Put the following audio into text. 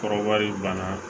Kɔrɔbari ban na